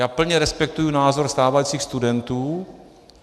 Já plně respektuji názor stávajících studentů.